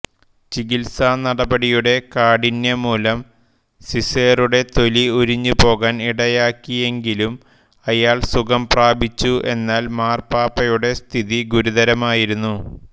ചികിത്സാനടപടിയുടെ കാഠിന്യം മൂലം സിസേറുടെ തൊലി ഉരിഞ്ഞുപോകാൻ ഇടയാക്കിയെങ്കിലും അയാൾ സുഖം പ്രാപിച്ചു എന്നാൽ മാർപ്പാപ്പയുടെ സ്ഥിതി ഗുരുതരമായിരുന്നു